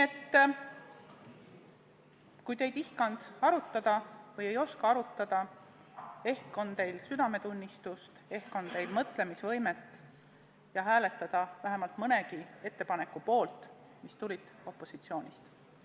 Aga kui te ei tihanud arutada või ei osanud arutada, ehk on teil südametunnistust, ehk on teil mõtlemisvõimet hääletada vähemalt mõnegi ettepaneku poolt, mis tulid opositsioonist.